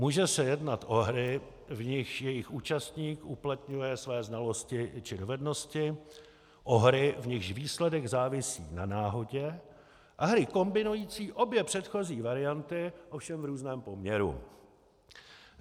Může se jednat o hry, v nichž jejich účastník uplatňuje své znalosti či dovednosti, o hry, v nichž výsledek závisí na náhodě, a hry kombinující obě předchozí varianty, ovšem v různém poměru.